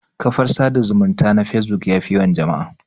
Kafar sada zumunta na facebook yafi yawan jama'a